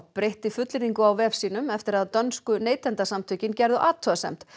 breytti fullyrðingu á vef sínum eftir að dönsku neytendasamtökin gerðu athugasemd